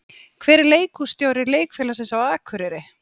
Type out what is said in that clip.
Hver er leikhússtjóri leikfélagsins á Akureyri?